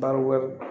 Baro